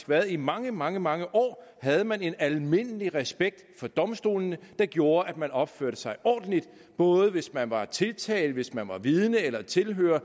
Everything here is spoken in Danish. været i mange mange mange år havde man en almindelig respekt for domstolene der gjorde at man opførte sig ordentligt og både hvis man var tiltalt og hvis man var vidne eller tilhører